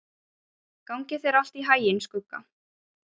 Gangi þér allt í haginn, Skugga.